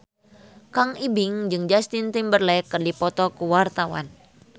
Kang Ibing jeung Justin Timberlake keur dipoto ku wartawan